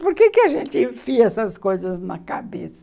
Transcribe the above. Por que a gente enfia essas coisas na cabeça?